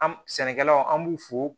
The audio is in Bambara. An sɛnɛkɛlaw an b'u fo